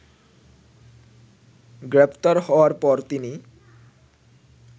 গ্রেফতার হওয়ার পর তিনি